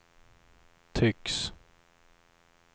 tycks